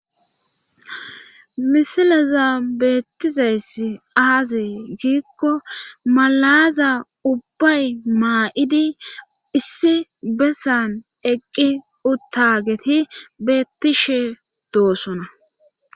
misilaza beettizayssi aaze giikko malaaza ubbay maa7idi issi bessan eqqi uttageti beettishe doosona